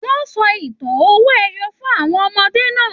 Wọn sọ ìtàn owó ẹyọ fún àwọn ọmọdé náà.